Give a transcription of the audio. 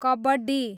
kabaddi